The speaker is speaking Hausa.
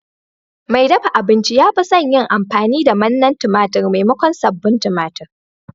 Mai dafa abinci ya fi son yin amfani da manna tumatir maimakon sabbin tumatir.